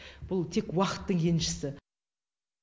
бұл тек уақыттың еншісі